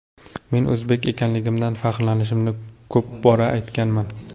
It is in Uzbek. Men o‘zbek ekanligimdan faxrlanishimni ko‘p bora aytganman.